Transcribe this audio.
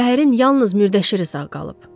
Şəhərin yalnız Mirdəşiri sağ qalıb.